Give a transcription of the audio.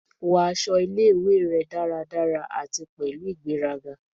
Wọ aṣọ ile-iwe rẹ daradara ati pẹlu igberaga